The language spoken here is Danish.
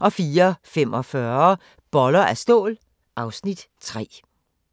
04:45: Boller af stål (Afs. 3)